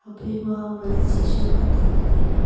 phaima wanzi chu atan le taile.